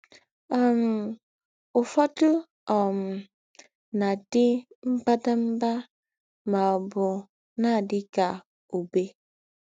um Ǔfọdụ um na - àdí mbàdàmbà mà ọ̀bụ̀ na - àdí kà Ǔbé.